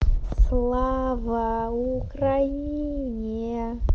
слава украине